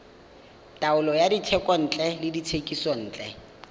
taolo ya dithekontle le dithekisontle